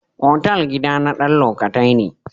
Otal gida na dan lokatai ne.